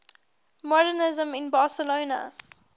modernisme in barcelona